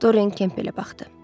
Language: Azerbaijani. Doren Kemplə baxdı.